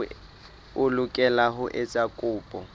o lokela ho etsa kopo